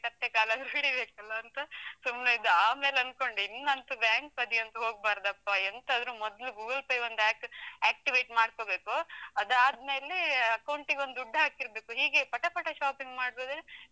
ಕತ್ತೆ ಕಾಲಾದ್ರು ಹಿಡಿಬೇಕಲ್ವಂತ , ಸುಮ್ನೆ ಇದ್ದೆ, ಆಮೇಲೆ ಅನ್ಕೊಂಡೆ ಇನ್ನು ಅಂತು ಬ್ಯಾಂಕ್ ಬದಿ ಅಂತು ಹೋಗ್ಬಾರ್ದಪ್ಪಾ, ಎಂತ ಆದ್ರೂ ಮೊದ್ಲು Google Pay ಒಂದು act~ activate ಮಾಡ್ಕೊಳ್ಬೇಕು, ಅದು ಆದ್ಮೇಲೇ account ಗೊಂದು ದುಡ್ಡು ಹಾಕಿರ್ಬೇಕು, ಹೀಗೆಯೆ ಪಟ ಪಟ shopping ಮಾಡುದಾದ್ರೆ.